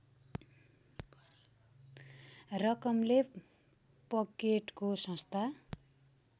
रकमले पकेटको संस्था